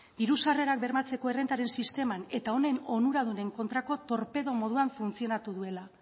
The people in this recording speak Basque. diru sarrerak bermatzearen errentaren sisteman eta honen onuradunen kontrako torpedo moduan funtzionatu duela